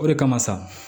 O de kama sa